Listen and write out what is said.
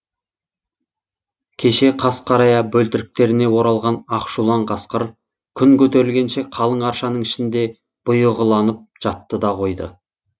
кеше қас қарая бөлтіріктеріне оралған ақшулан қасқыр күн көтерілгенше қалың аршаның ішінде бұйығыланып жатты да қойды